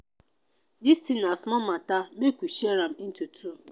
dis thing na small matter make we share am into two